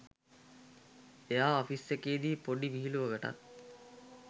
එයා ඔෆිස් එකේ දි පොඩි විහිළුවකටත්